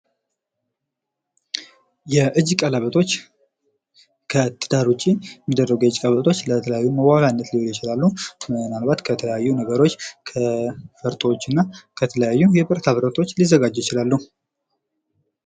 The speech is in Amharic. የእጅ ቀለበቶች ከትዳር ውጪ የሚደረጉ የእጅ ቀለበቶች ለተለያዩ መዋቢያ ሊሆኑ ይችላሉ። ምናልባት ከተለያዩ ነገሮች ከፈርጦችና ከተለያዩ ብረታ ብረቶች ሊዘጋጁ ይችላሉ።